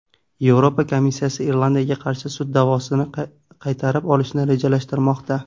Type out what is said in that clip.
Yevropa komissiyasi Irlandiyaga qarshi sud da’vosini qaytarib olishni rejalashtirmoqda.